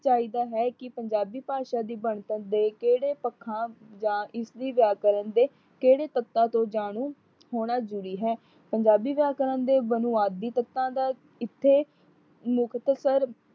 ਚਾਹੀਦਾ ਹੈ ਕਿ ਪੰਜਾਬੀ ਭਾਸ਼ਾ ਦੀ ਬਣਤਰ ਦੇ ਕਿਹੜੇ ਪੱਖਾਂ ਦਾ ਇਸ ਵੀ ਵਿਆਕਰਨ ਦੇ ਕਿਹੜੇ ਤੱਤਾ ਤੋਂ ਜਾਣੂ ਹੋਣਾ ਜ਼ਰੂਰੀ ਹੈ। ਪੰਜਾਬੀ ਭਾਸ਼ਾ ਦੇ ਬੁਨਿਆਦੀ ਤੱਤਾ ਦਾ ਇਥੇ ਮੁਕਤਸਰ